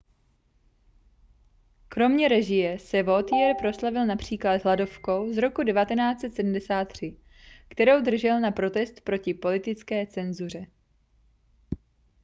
kromě režie se vautier proslavil například hladovkou z roku 1973 kterou držel na protest proti politické cenzuře